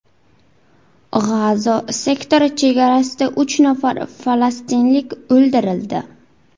G‘azo sektori chegarasida uch nafar falastinlik o‘ldirildi.